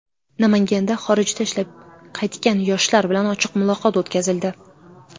Namanganda xorijda ishlab qaytgan yoshlar bilan ochiq muloqot o‘tkazildi.